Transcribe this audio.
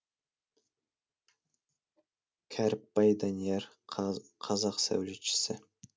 кәріпбай данияр қазақ сәулетшісі